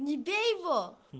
не бей его